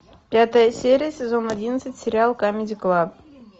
пятая серия сезон одиннадцать сериал камеди клаб